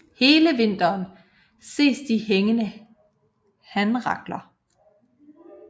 Hele vinteren ses de hængende hanrakler